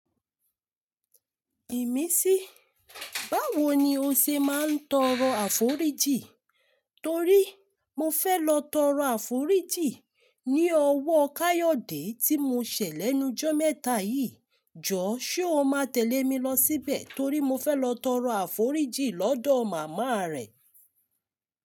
Ìmísí, báwo ni o ṣe máa ń tọrọ àforíjì? Torí mo fẹ́ lọ tọrọ àforíjì ní ọwọ́ Káyọ̀dé tí mo ṣẹ̀ lẹ́nu ijọ́ mẹ́ta yìí. Jọ, ṣé o máa tẹ̀lé mi lọ síbẹ̀ torí mo fẹ́ lọ tọrọ àforíjì lọ́dọ̀ màmá rẹ̀?